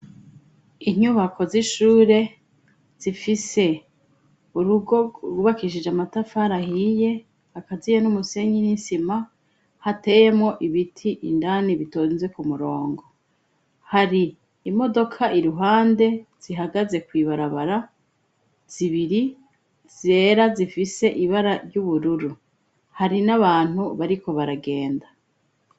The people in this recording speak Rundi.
Inyubako z'ishure zifise urugo rubakishije amatafara ahiye akaziye n'umusenyi n'isima hateyemo ibiti indani bitonze ku murongo hari imodoka iruhande zihagaze ku ibarabara zibiri zera zifise ibara ry'ubururu hari n'abantu bariko baragenda.